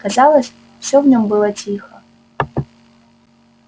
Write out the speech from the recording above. казалось все в нем было тихо